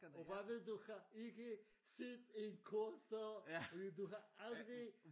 Og hvad hvis du har ikke set et kort før og hvis du har aldrig